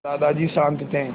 दादाजी शान्त थे